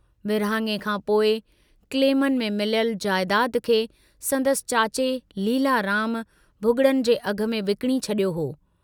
विरहाङे खां पोइ क्लेमनि में मिलियल जयदाद खे संदसि चाचे लीलाराम भुगड़नि जे अघ में विकिणी छड़ियो हो।